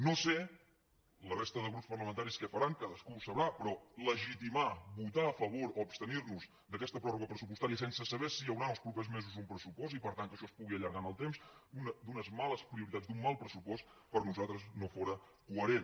no sé la resta de grups parlamentaris què faran cadascú ho sabrà però legitimar votar a favor o abstenir nos d’aquesta pròrroga pressupostària sense saber si hi haurà en els propers mesos un pressupost i per tant que això es pugui allargar en el temps d’unes males prioritats d’un mal pressupost per nosaltres no fóra coherent